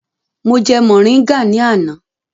Mo jẹ mọ̀ríngà ní àná.